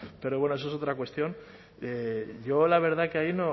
pero bueno eso es otra cuestión yo la verdad que ahí